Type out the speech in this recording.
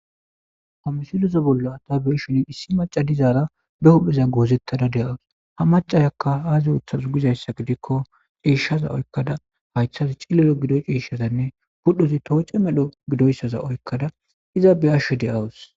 Amisilosa bolla ta beshoni issi maca dizaara be huldheza goozettada de'awus ha macasakka aazi uthasu gizayssa gidikko iishshaza oykkada haythazi cillelo gidoy ciiishshazanne pudhozi tooce medho gidoyssaza oykkada iza beyashsho de'awus